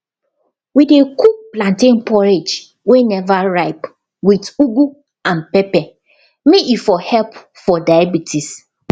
we dey cook plantain porridge wey never ripe with ugu and pepper may e for help for diabetics